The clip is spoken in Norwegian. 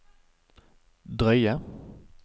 drøye